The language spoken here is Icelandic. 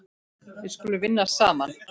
Við skulum vinna saman.